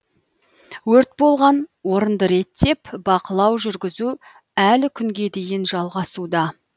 өрт болған орынды реттеп бақылау жүргізу әлі күнге дейін жалғасуда